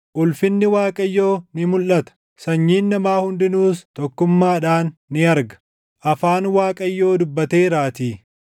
Ulfinni Waaqayyoo ni mulʼata; sanyiin namaa hundinuus tokkummaadhaan ni arga. Afaan Waaqayyoo dubbateeraatii.”